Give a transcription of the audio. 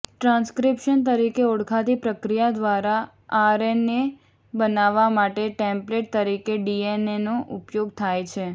transcription તરીકે ઓળખાતી પ્રક્રિયા દ્વારા આરએનએ બનાવવા માટે ટેમ્પલેટ તરીકે ડીએનએનો ઉપયોગ થાય છે